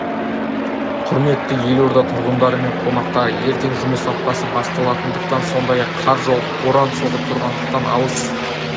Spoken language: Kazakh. құрметті елорда тұрғындары мен қонақтары ертең жұмыс аптасы басталатындықтан сондай-ақ қар жауып боран соғып тұрғандықтан алыс